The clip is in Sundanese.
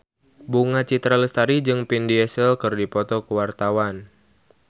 Bunga Citra Lestari jeung Vin Diesel keur dipoto ku wartawan